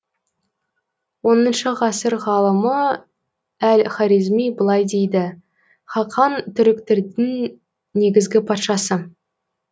оныншы ғасыр ғалымы әл хорезми былай дейді хақан түріктердің негізгі патшасы